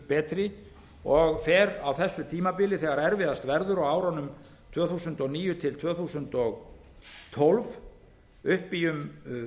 betri og fer á þessu tímabili þegar erfiðast verður á árunum tvö þúsund og níu til tvö þúsund og tólf upp í um